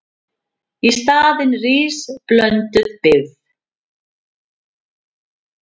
Í staðinn rísi blönduð byggð.